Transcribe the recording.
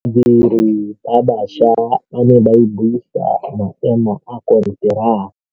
Badiri ba baša ba ne ba buisa maêmô a konteraka.